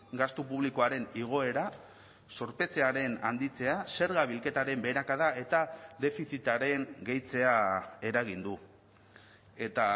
gastu publikoaren igoera zorpetzearen handitzea zerga bilketaren beherakada eta defizitaren gehitzea eragin du eta